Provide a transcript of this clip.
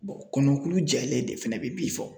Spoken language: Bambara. kɔnɔkulu jɛlen de fɛnɛ bɛ bi fɔ .